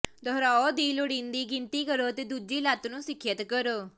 ਦੁਹਰਾਓ ਦੀ ਲੋੜੀਂਦੀ ਗਿਣਤੀ ਕਰੋ ਅਤੇ ਦੂਜੀ ਲੱਤ ਨੂੰ ਸਿਖਿਅਤ ਕਰੋ